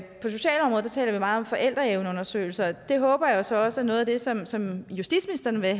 sig vi meget om forældreevneundersøgelse og det håber jeg så også er noget af det som som justitsministeren vil